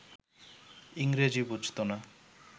ইংরেজি বুঝত না